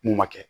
N'u ma kɛ